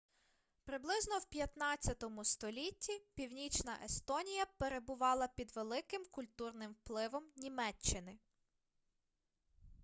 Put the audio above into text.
приблизно в 15-му столітті північна естонія перебувала під великим культурним впливом німеччини